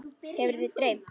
Hefur þig dreymt?